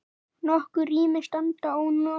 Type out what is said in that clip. Nokkur rými standa ónotuð.